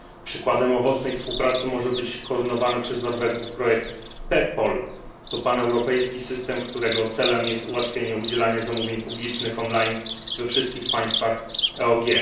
Przykładem owocnej współpracy może być koordynowany przez Norwegów projekt PEPPOL paneuropejski system, którego celem jest ułatwianie udzielania zamówień publicznych on line we wszystkich państwach EOG.